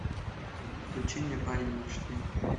включи мне парень мечты